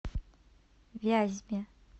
вязьме